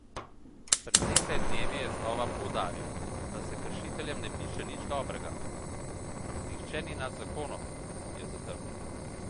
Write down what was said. Pred nekaj dnevi je znova poudaril, da se kršiteljem ne piše nič dobrega: "Nihče ni nad zakonom" je zatrdil.